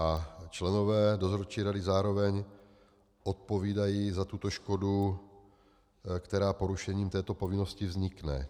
A členové dozorčí rady zároveň odpovídají za tuto škodu, která porušením této povinnosti vznikne.